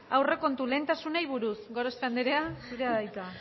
aurrekontu lehentasunei buruz gorospe anderea zurea da hitza